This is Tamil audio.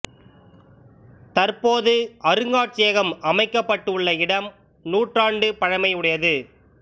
தற்போது அருங்காட்சியகம் அமைக்க பட்டு உள்ள இடம் நூற்றாண்டு பழமை உடையது